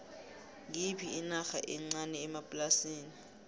ngiyiphi inarha encani ephasini